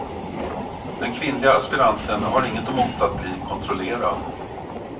Den kvinnliga aspiranten har inget emot att bli kontrollerad.